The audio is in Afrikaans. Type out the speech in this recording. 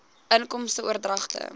inkomste oordragte